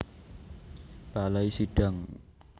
Balai Sidang